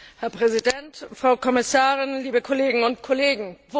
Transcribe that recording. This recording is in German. Herr Präsident, Frau Kommissarin, liebe Kolleginnen und Kollegen!